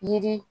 Yiri